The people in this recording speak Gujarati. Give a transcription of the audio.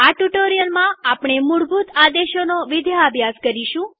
આ ટ્યુ્ટોરીઅલમાં આપણે મૂળભૂત આદેશોનો વિદ્યાભ્યાસ કરીશું